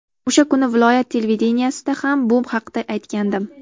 O‘sha kuni viloyat televideniyesida ham bu haqda aytgandim.